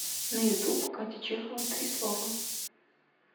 на ютуб катя чехова три слова